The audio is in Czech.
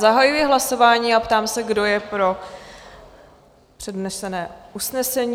Zahajuji hlasování a ptám se, kdo je pro přednesené usnesení?